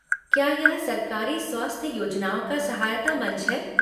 क्या यह सरकारी स्वास्थ्य योजनाओं का सहायता मंच है?